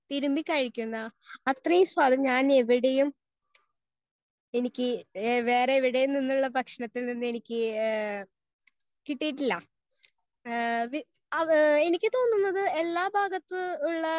Speaker 1 തിരുമ്പി കഴിക്കുന്ന അത്രേം സാധ് ഞാൻ എവിടേയും എനിക്ക് വേറെ എവിടേയും നിന്നുള്ള ഭക്ഷണത്തിന്ന് എനിക്ക് ഹേ കിട്ടിയിട്ടില്ല. ഹേ ആ എനിക്ക് തോന്നുന്നത് എല്ലാഭാഗത്തു ഉള്ള